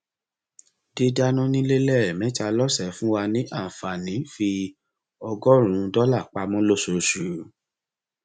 dídánà nílé lẹẹmẹta lọsẹ ń fún wa ní àǹfààní fi ọgọrùnún dọlà pamọ lóṣooṣù